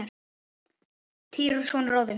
Týr er sonur Óðins.